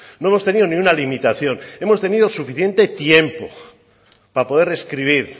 no hemos tenido ni una limitación hemos tenido suficiente tiempo para poder escribir